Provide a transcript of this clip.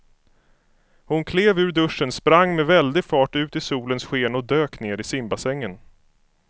Hon klev ur duschen, sprang med väldig fart ut i solens sken och dök ner i simbassängen.